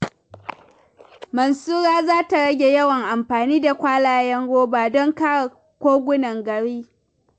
Mansura za ta rage yawan amfani da kwalayen roba don kare kogunan gari.